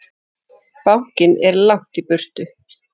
Bankinn er langt í burtu.